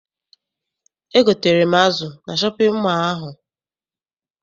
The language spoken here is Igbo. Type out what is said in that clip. Egotere m azụ na shọpịn mọọ ahụ.